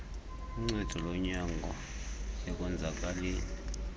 uncedo lonyango ekonzakaleni